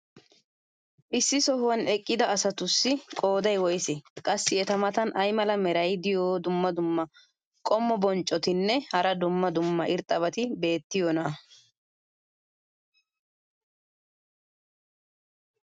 issi sohuwan eqqida asatussi qooday woysee? qassi eta matan ay mala meray diyo dumma dumma qommo bonccotinne hara dumma dumma irxxabati beetiyoonaa?